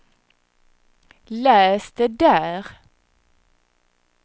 läs det där